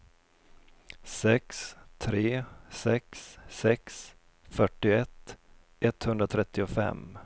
sex tre sex sex fyrtioett etthundratrettiofem